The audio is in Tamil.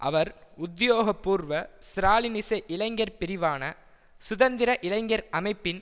அவர் உத்தியோகபூர்வ ஸ்ராலினிச இளைஞர் பிரிவான சுதந்திர இளைஞர் அமைப்பின்